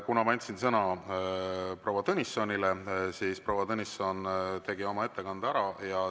Kuna ma andsin sõna proua Tõnissonile, siis proua Tõnisson tegi oma ettekande ära.